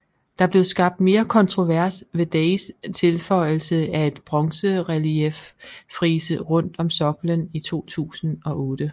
Der blev skabt mere kontrovers ved Days tilføjelse af et bronzerelieffrise rundt om soklen i 2008